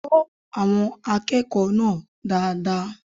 Kọ àwọn akẹ́kọ̀ọ́ náà dáadáa